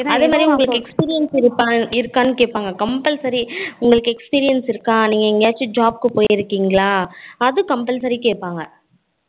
அதே மாதிரி உங்களுக்கு experience இருக்கா கேப்பாங்க compulsory உங்களுக்கு experience இருக்கா நீங்க எங்கயாச்சு job கு போய்ருகிங்களா அது compulsory கேப்பாங்க